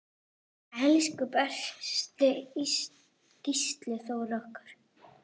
Elsku besti Gísli Þór okkar.